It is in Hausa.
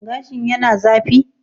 Gashin yana zafi?